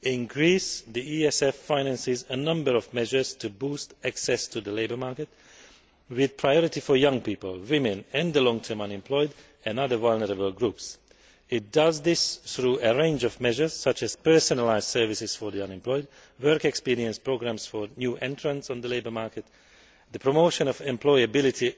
In Greece, the European Social Fund finances a number of measures to boost access to the labour market, with priority for young people, women, the long term unemployed and other vulnerable groups. It does this through a range of measures, such as personalised services for the unemployed, work experience programmes for new entrants to the labour market, the promotion of employability